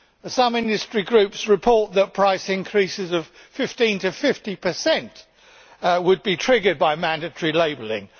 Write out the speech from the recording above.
Some industry groups report that price increases of 15 to 50 would be triggered by mandatory labelling.